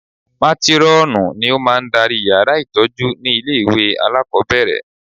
Mátírọ́ọ̀nù ni ó máa ń darí yàrá ìtọ́jú ní ilé ìwé alákọ̀ọ́bẹ̀rẹ̀